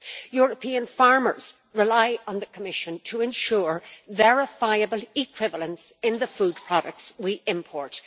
European farmers rely on the Commission to ensure verifiable equivalence in the food products we import.